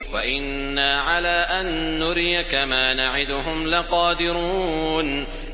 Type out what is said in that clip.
وَإِنَّا عَلَىٰ أَن نُّرِيَكَ مَا نَعِدُهُمْ لَقَادِرُونَ